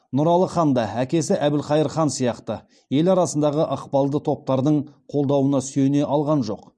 нұралы хан да әкесі әбілқайыр сияқты ел арасындағы ықпалды топтардың қолдауына сүйене алған жоқ